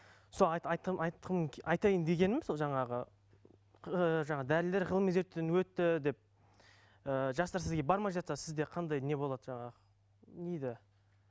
сол айтайын дегенім сол жаңағы ыыы жаңа дәрілер ғылыми зерттеуден өтті деп ыыы жастар сізге бармай жатса сізде қандай не болады жаңағы не дейді